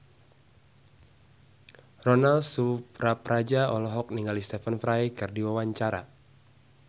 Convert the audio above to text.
Ronal Surapradja olohok ningali Stephen Fry keur diwawancara